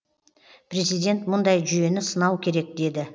президент мұндай жүйені сынау керек деді